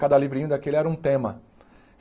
Cada livrinho daquele era um tema.